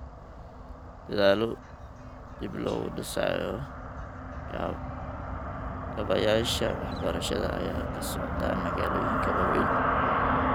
Dadaalo dib loogu dhisayo kaabayaasha waxbarashada ayaa ka socda magaalooyinka waaweyn.